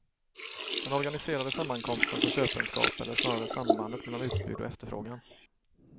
Den organiserade sammankomsten för köpenskap eller snarare sambandet mellan utbud och efterfrågan.